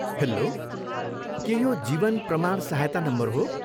Hello! के यो जीवन प्रमाण सहायता नम्बर हो?